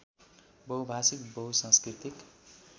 बहुभाषिक बहुसांस्कृतिक